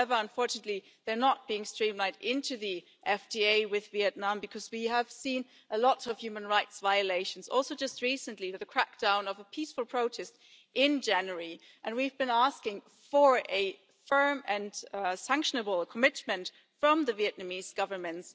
However, unfortunately, they're not being streamlined into the FTA with Vietnam, because we have seen a lot of human rights violations also just recently with the crackdown of a peaceful protest in January and we've been asking for a firm and sanctionable commitment from the Vietnamese Government